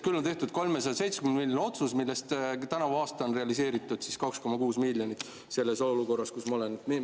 Küll on tehtud 370‑miljoniline otsus, millest tänavu aasta on realiseeritud 2,6 miljonit, selles olukorras, kus me oleme.